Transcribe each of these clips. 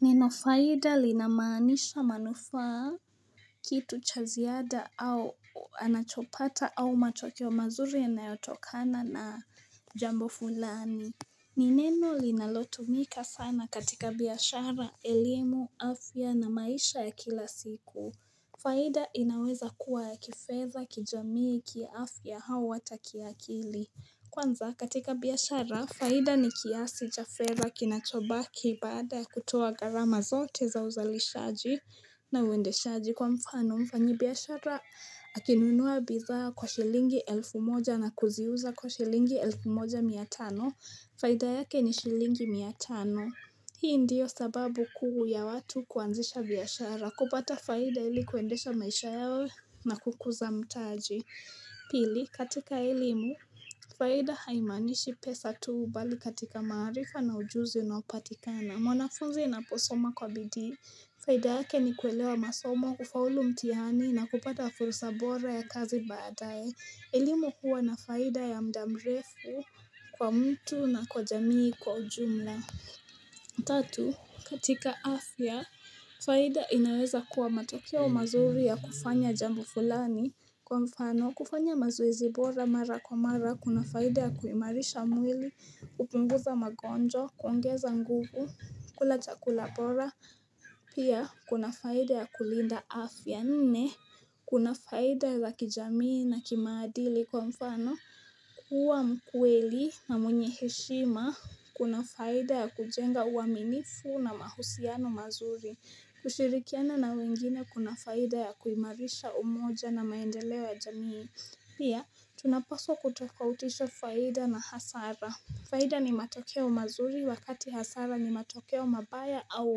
Ninafaida linamaanisha manufa kitu chaziada au anachopata au matokeo mazuri yanayotokana na jambo fulani. Nineno linalotumika sana katika biashara, elimu, afya na maisha ya kila siku. Faida inaweza kuwa ya kifedha kijamii kiafya hau hata kiakili. Kwanza katika biashara, faida ni kiasi cha fedha kinachobaki baada ya kutoa garama zote za uzalishaji na uendeshaji kwa mfano mfanyi biashara akinunuwa bidhaa kwa shilingi elfu moja na kuziuza kwa shilingi elfu moja miatano, faida yake ni shilingi miatano. Hii ndiyo sababu kuu ya watu kuanzisha biashara, kupata faida ili kuendesha maisha yao na kukuza mtaji. Pili, katika elimu, faida haimaanishi pesa tuu bali katika maarifa na ujuzi unaopatikana mwanafunzi inaposoma kwa bidii Faida yake ni kuelewa masoma, kufaulu mtihani na kupata fursa bora ya kazi badaye elimu huwa na faida ya mdamrefu kwa mtu na kwa jamii kwa ujumla Tatu, katika afya Faida inaweza kuwa matokeo mazuri ya kufanya jambo fulani Kwa mfano, kufanya mazoezi bora mara kwa mara, kuna faida ya kuimarisha mwili, kupunguza magonjwa, kuongeza nguvu, kulachakula bora pia, kuna faida ya kulinda afya nne Kuna faida za kijamii na kimaadili, kwa mfano, kuwa mkweli na mwenye heshima Kuna faida ya kujenga uaminifu na mahusiano mazuri kushirikiana na wengine kuna faida ya kuimarisha umoja na maendeleo ya jamii Pia, tunapaswa kutofautisha faida na hasara Faida ni matokeo mazuri wakati hasara ni matokeo mabaya au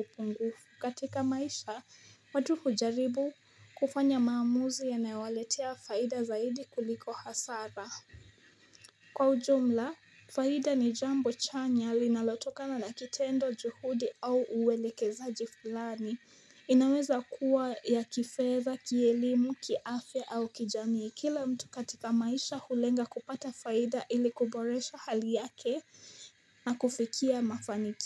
upungufu katika maisha, watu hujaribu kufanya maamuzi ya nayowaletea faida zaidi kuliko hasara Kwa ujumla, faida ni jambo chanya linalotokana na kitendo juhudi au uweleke zaji fulani inaweza kuwa ya kifedha, kielimu, kiafya au kijamii Kila mtu katika maisha hulenga kupata faida ili kuboresha hali yake na kufikia mafaniki.